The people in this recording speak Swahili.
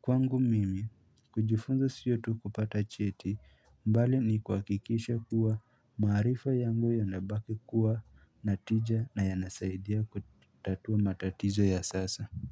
Kwangu mimi kujifunza siyo tu kupata cheti, bali ni kwa kuhakikisha kuwa maarifa yangu yanabaki kuwa na tija na yanasaidia kutatua matatizo ya sasa.